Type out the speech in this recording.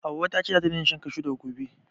Hauwa ta ce zata daina shan kashu daga gobe